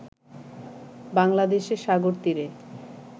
বাংলাদেশে সাগরতীরে